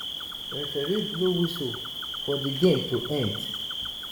referee blow whistle for di game to end